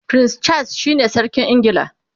prince Charles shine sarkin ingila